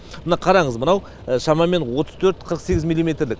мына қараңыз мынау шамамен отыз төрт қырық сегіз миллиметрлік